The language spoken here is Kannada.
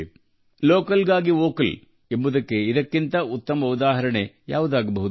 ಸ್ಥಳೀಯರಿಗೆ ಧ್ವನಿಯಾಗುವುದಕ್ಕೆ ಇದಕ್ಕಿಂತ ಉತ್ತಮ ಉದಾಹರಣೆ ಬೇಕೆ